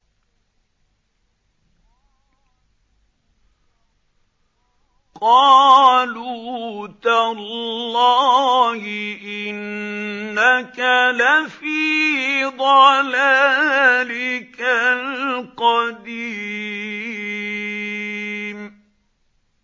قَالُوا تَاللَّهِ إِنَّكَ لَفِي ضَلَالِكَ الْقَدِيمِ